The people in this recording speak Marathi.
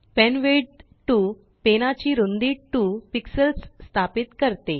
पेनविड्थ 2पेनाची रुंदी2 pixelsस्थापित करते